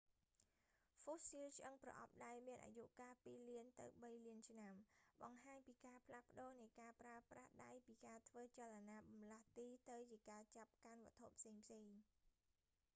ហ្វូស៊ីលឆ្អឹងប្រអប់ដៃមានអាយុកាលពីរលានទៅបីលានឆ្នាំ បង្ហាញពីការផ្លាស់ប្ដូរនៃការប្រើប្រាស់ដៃពីការធ្វើចលនាបម្លាស់ទីទៅជាការចាប់កាន់វត្ថុផ្សេងៗ